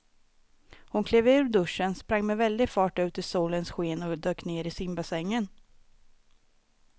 Hon klev ur duschen, sprang med väldig fart ut i solens sken och dök ner i simbassängen.